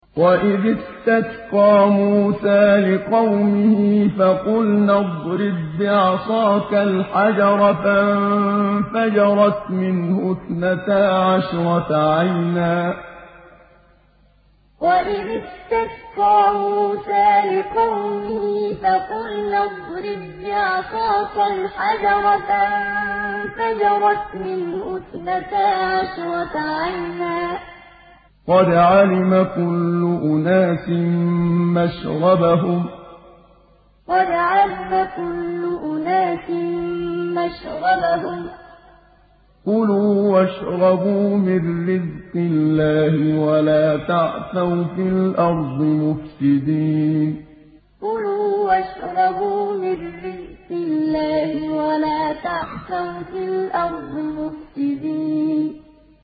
۞ وَإِذِ اسْتَسْقَىٰ مُوسَىٰ لِقَوْمِهِ فَقُلْنَا اضْرِب بِّعَصَاكَ الْحَجَرَ ۖ فَانفَجَرَتْ مِنْهُ اثْنَتَا عَشْرَةَ عَيْنًا ۖ قَدْ عَلِمَ كُلُّ أُنَاسٍ مَّشْرَبَهُمْ ۖ كُلُوا وَاشْرَبُوا مِن رِّزْقِ اللَّهِ وَلَا تَعْثَوْا فِي الْأَرْضِ مُفْسِدِينَ ۞ وَإِذِ اسْتَسْقَىٰ مُوسَىٰ لِقَوْمِهِ فَقُلْنَا اضْرِب بِّعَصَاكَ الْحَجَرَ ۖ فَانفَجَرَتْ مِنْهُ اثْنَتَا عَشْرَةَ عَيْنًا ۖ قَدْ عَلِمَ كُلُّ أُنَاسٍ مَّشْرَبَهُمْ ۖ كُلُوا وَاشْرَبُوا مِن رِّزْقِ اللَّهِ وَلَا تَعْثَوْا فِي الْأَرْضِ مُفْسِدِينَ